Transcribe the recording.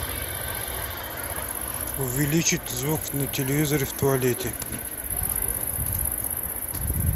увеличить звук на телевизоре в туалете